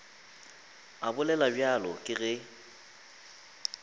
a bolela bjalo ke ge